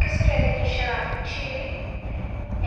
Kisire kenyisiek ab chii